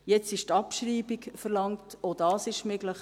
Nun ist die Abschreibung verlangt, auch dies ist möglich.